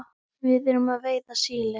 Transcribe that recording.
Við erum að veiða síli.